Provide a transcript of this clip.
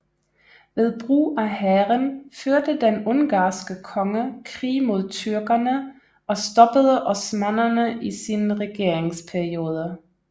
Ved brug af hæren førte den ungarske konge krig mod tyrkerne og stoppede osmannerne i sin regeringsperiode